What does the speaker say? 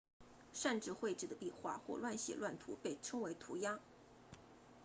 擅自绘制的壁画或乱写乱涂被称为涂鸦